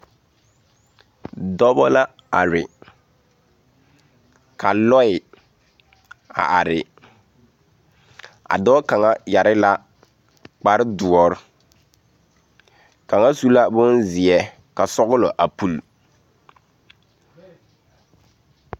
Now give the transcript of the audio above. Dɔbɔ la are ka lɔɛ a are a dɔɔ kaŋa yɛre la kparrdoɔre kaŋa su la bonzeɛ ka sɔglɔ a pule.